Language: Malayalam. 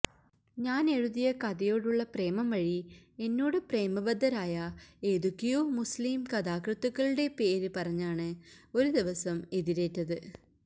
ഞാനെഴുതിയ കഥയോടുള്ള പ്രേമം വഴി എന്നോടു പ്രേമബദ്ധരായ ഏതൊക്കെയോ മുസ്ലിം കഥാകൃത്തുക്കളുടെ പേര് പറഞ്ഞാണ് ഒരു ദിവസം എതിരേറ്റത്